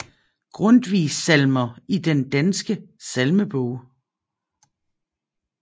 Grundtvig Salmer i Den Danske Salmebog